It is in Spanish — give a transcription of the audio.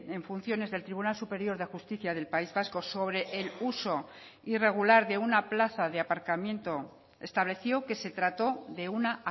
en funciones del tribunal superior de justicia del país vasco sobre el uso irregular de una plaza de aparcamiento estableció que se trató de una